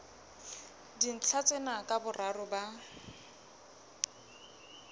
dintlha tsena ka boraro ba